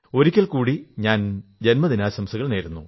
ഒരിക്കൽ കൂടി ഞാൻ ജന്മദിനാശംസകൾ നേരുന്നു